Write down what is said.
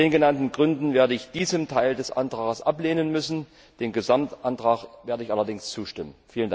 Aus den genannten Gründen werde ich diesen Teil des Antrags ablehnen müssen, dem Gesamtantrag werde ich allerdings zustimmen.